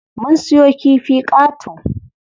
Mun siyo kifi qato.